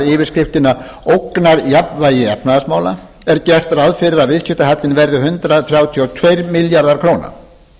yfirskriftina ógnarjafnvægi efnahagsmála er gert ráð fyrir að viðskiptahallinn verði hundrað þrjátíu og tveir milljarðar króna þá er ljóst að